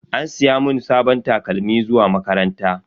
An siya mun sabon takalmin zuwa makaranta.